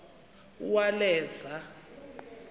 uwaleza